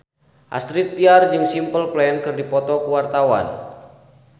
Astrid Tiar jeung Simple Plan keur dipoto ku wartawan